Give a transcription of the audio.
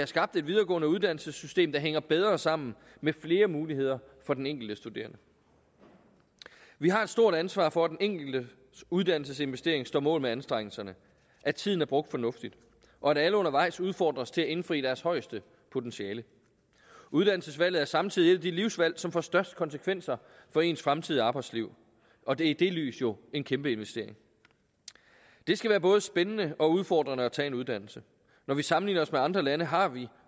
skabt et videregående uddannelsessystem der hænger bedre sammen med flere muligheder for den enkelte studerende vi har et stort ansvar for at den enkelte uddannelsesinvestering står mål med anstrengelserne at tiden er brugt fornuftigt og at alle undervejs udfordres til at indfri deres højeste potentiale uddannelsesvalget er samtidig et af de livsvalg som får størst konsekvenser for ens fremtidige arbejdsliv og det er i det lys jo en kæmpe investering det skal være både spændende og udfordrende at tage en uddannelse når vi sammenligner os med andre lande har vi